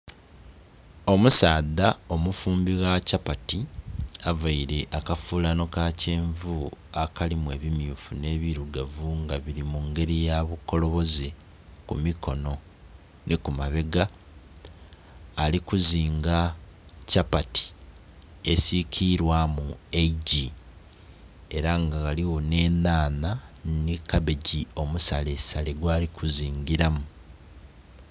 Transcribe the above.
Omusaadha omufumbi gha chapati, availe akafuulano ka kyenvu akalimu ebimyufu nh'ebilugavu, nga bili mu ngeli ya bukoloboze ku mikono nhi ku mabega. Ali kuzinga chapati esikilwaamu eigyi. Ela nga ghaligho nh'enhanha nhi kabegi omusalesale gwali kuzingilamu.